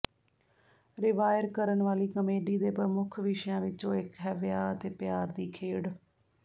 ਰਿਵਾਇਰ ਕਰਨ ਵਾਲੀ ਕਾਮੇਡੀ ਦੇ ਪ੍ਰਮੁੱਖ ਵਿਸ਼ਿਆਂ ਵਿਚੋਂ ਇਕ ਹੈ ਵਿਆਹ ਅਤੇ ਪਿਆਰ ਦੀ ਖੇਡ